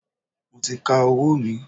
Mo ti ka owó mi.